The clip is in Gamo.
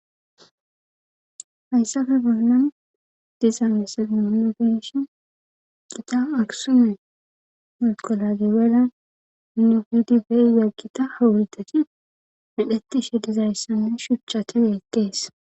Hayssafe bolnan diza mesamihona beshi qita agsume muqolage wela nuhuidi beyyaggita hawidati medhettishe dizayssamme shuchchateeeqkees